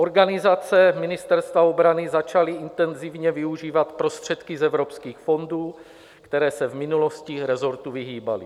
Organizace Ministerstva obrany začaly intenzivně využívat prostředky z evropských fondů, které se v minulosti resortu vyhýbaly.